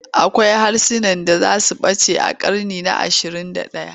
Akwai harsunan da za su ɓace a ƙarni na ashirin da ɗaya.